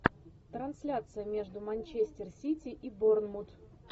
трансляция между манчестер сити и борнмут